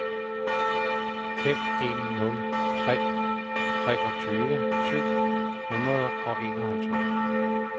fem en nul tre treogtyve syv hundrede og enoghalvtreds